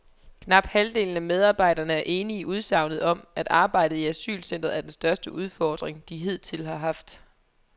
Knap halvdelen af medarbejderne er enige i udsagnet om, at arbejdet i asylcentret er den største udfordring, de hidtil har haft.